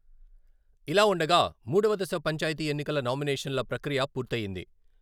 ఇలా ఉండగా, మూడవ దశ పంచాయతీ ఎన్నికల నామినేషన్ల ప్రక్రియ పూర్తయ్యింది.